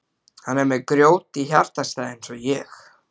Hann er með grjót í hjartastað eins og ég.